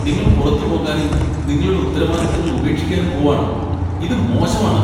നിങ്ങൾ പുറത്തുപോകാനും നിങ്ങളുടെ ഉത്തരവാദിത്തങ്ങൾ ഉപേക്ഷിക്കാനും പോവാണോ? ഇത് മോശമാണ്.